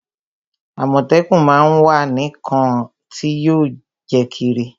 Àmọ̀tẹ́kún má á ń wá ǹnkan tí yóò jẹ́ kírí